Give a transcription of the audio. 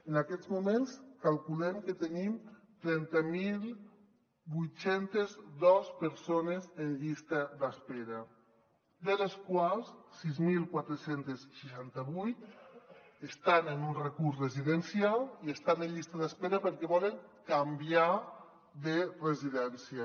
en aquests moments calculem que tenim trenta mil vuit cents i dos persones en llista d’espera de les quals sis mil quatre cents i seixanta vuit estan en un recurs residencial i estan en llista d’espera perquè volen canviar de residència